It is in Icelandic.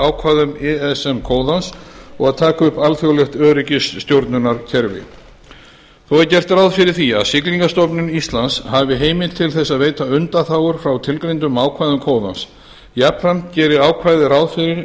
ákvæðum ism kóðans og taka upp alþjóðlegt öryggisstjórnunarkerfi þó er gert ráð fyrir því að siglingamálastofnun íslands hafi heimild til þess að veita undanþágur frá tilgreindum ákvæðum kóðans jafnframt gerir ákvæðið ráð fyrir